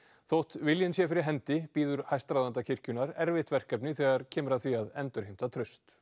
þótt viljinn sé fyrir hendi bíður hæstráðenda kirkjunnar erfitt verkefni þegar kemur að því að endurheimta traust